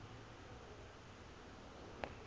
ba be ba sa iphihle